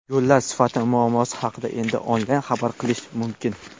Yo‘llar sifati muammosi haqida endi onlayn xabar qilish mumkin.